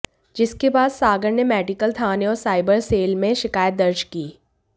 जिसके बाद सागर ने मेडिकल थाने और साइबर सेल में शिकायत दर्ज की